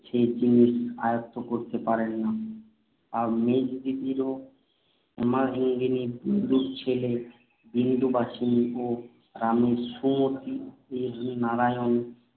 যে জিনিস আয়ত্ত করতে পারেন না। মেজদিদির হেমাঙ্গিনী, বিন্দুর ছেলের বিন্দুবাসিনী এবং রামের সুমতির নারায়ণী